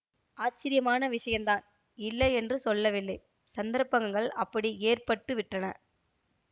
ஆச்சரியமான விஷயந்தான் இல்லை என்று சொல்லவில்லை சந்தர்ப்பங்கள் அப்படி ஏற்பட்டு விட்டன